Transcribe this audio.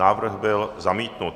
Návrh byl zamítnut.